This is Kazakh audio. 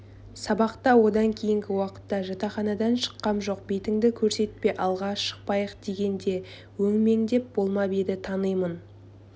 сабақта одан кейінгі уақытта жатақханадан шыққам жоқ бетіңді көрсетпе алға шықпайық дегенде өңмеңдеп болмап еді танимын